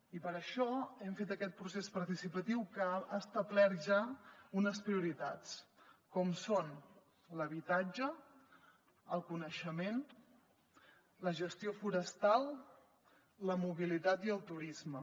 i per això hem fet aquest procés participatiu que ha establert ja unes prioritats com són l’habitatge el coneixement la gestió forestal la mobilitat i el turisme